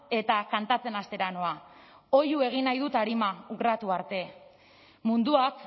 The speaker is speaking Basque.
eta kantatzen hastera noa oihu egin nahi dut arima arte munduak